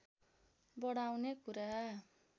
बढाउने कुरा